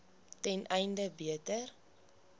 ten einde beter